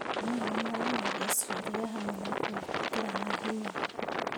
Atumia nĩmoragia cĩũria hamwe na gũĩkĩrana hinya